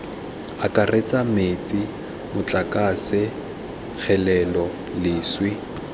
akaretsa metsi motlakase kgelelo leswe